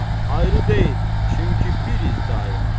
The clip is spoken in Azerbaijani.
Ayrı deyil, çünki biriz daima.